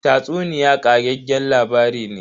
Tatsuniya ƙageggen labari ne.